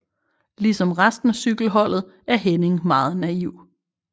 Ligesom resten af cykelholdet er Henning meget naiv